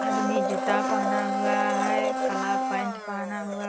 आदमी जूता पहना हुआ है काला पैंट पहना हुआ --